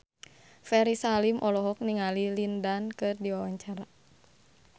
Ferry Salim olohok ningali Lin Dan keur diwawancara